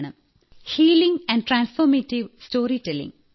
healing and transformative storytelling |